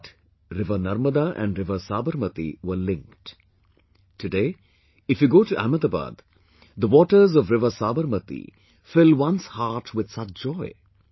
But river Narmada and river Sabarmati were linked...today, if you go to Ahmedabad, the waters of river Sabarmati fill one's heart with such joy